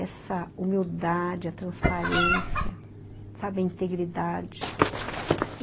Essa humildade, a transparência, sabe, a integridade.